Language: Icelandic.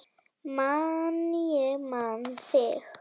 Man ég man þig